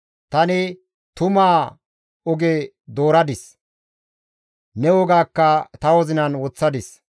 Tani tumaa oge dooradis; ne wogaakka ta wozinan woththadis.